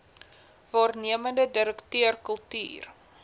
waarnemende direkteur kultuur